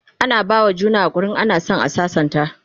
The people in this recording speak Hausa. ana bawa juna hakuri in ana San a sassanta